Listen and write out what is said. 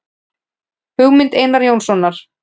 Hugmynd Einars Jónssonar.